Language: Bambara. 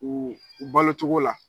U u balo cogo la.